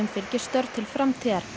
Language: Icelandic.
fylgi störf til framtíðar